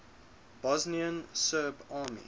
bosnian serb army